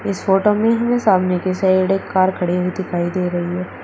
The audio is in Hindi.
इस फोटो में हमें सामने की साइड एक कार एक खड़ी हुई दिखाई दे रही है।